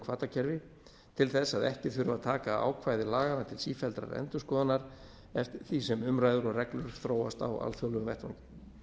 hvatakerfi til þess að ekki þurfi að taka ákvæði laganna til sífelldrar endurskoðunar eftir því sem umræður og reglur þróast á alþjóðlegum